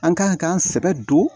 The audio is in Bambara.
An ka k'an sɛbɛ don